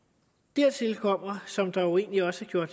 dertil kommer som der jo egentlig også